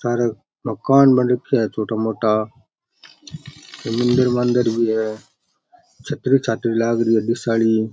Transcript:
सारे मकान बन रख्या है छोटा मोटा कोई मंदिर बन्दिर भी है छतरी छातरी लाग री है डिस आली।